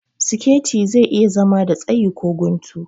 Siketi zai iya zama da tsayi ko guntu